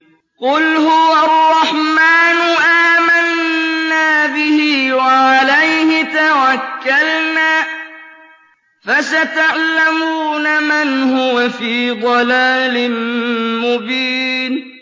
قُلْ هُوَ الرَّحْمَٰنُ آمَنَّا بِهِ وَعَلَيْهِ تَوَكَّلْنَا ۖ فَسَتَعْلَمُونَ مَنْ هُوَ فِي ضَلَالٍ مُّبِينٍ